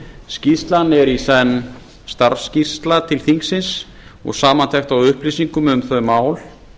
skýrslan er í senn starfsskýrsla til þingsins og samantekt á upplýsingum um þau mál